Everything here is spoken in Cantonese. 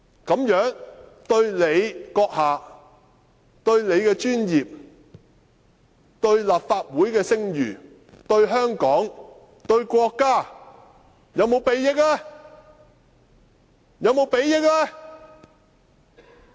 這樣對他個人、對他的專業、對立法會的聲譽、對香港、對國家，是否有裨益呢？